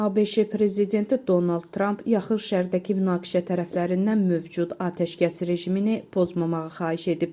ABŞ prezidenti Donald Trump yaxın şərqdəki münaqişə tərəflərindən mövcud atəşkəs rejimini pozmamağa xahiş edib.